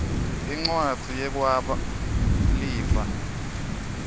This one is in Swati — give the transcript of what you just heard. incwadzi yekwaba lifa